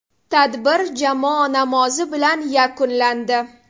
Tadbir jamoa namozi bilan yakunlandi.